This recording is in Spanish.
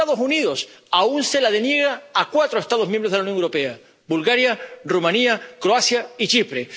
Pero los Estados Unidos aún se la deniegan a cuatro Estados miembros de la Unión Europea Bulgaria, Rumanía, Croacia y Chipre.